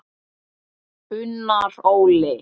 Unnar Óli.